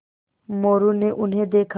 मोरू ने उन्हें देखा